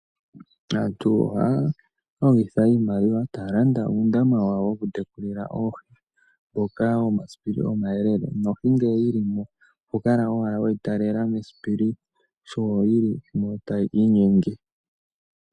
Aantu ohaya longitha iimaliwa taya landa uundama wawo, woku tekulila oohi, mboka wo masipili omayelele, nohi ngele yi li mo oho kala wala weyi taalela mesipili, sho yi li mo tayi inyenge.